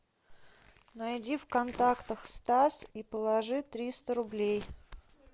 найди в контактах стас и положи триста рублей